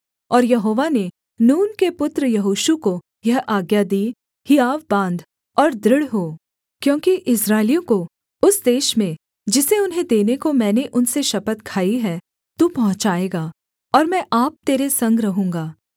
और यहोवा ने नून के पुत्र यहोशू को यह आज्ञा दी हियाव बाँध और दृढ़ हो क्योंकि इस्राएलियों को उस देश में जिसे उन्हें देने को मैंने उनसे शपथ खाई है तू पहुँचाएगा और मैं आप तेरे संग रहूँगा